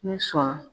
Ni sɔn